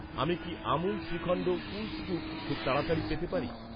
আমি কি Amul shrikhand cool scoop খুব তাড়াতাড়ি পেতে পারি?